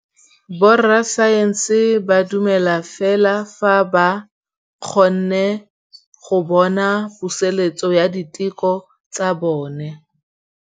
Borra saense ba dumela fela fa ba kgonne go bona poeletsô ya diteko tsa bone.